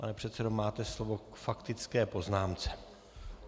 Pane předsedo, máte slovo k faktické poznámce.